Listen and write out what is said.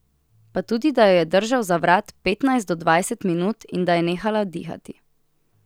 Pa tudi, da jo je držal za vrat petnajst do dvajset minut in da je nehala dihati.